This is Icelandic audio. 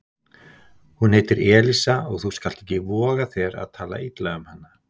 Hún heitir Elísa og þú skalt ekki voga þér að tala illa um hana